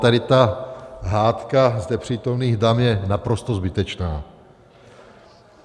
Tady ta hádka zde přítomných dam je naprosto zbytečná.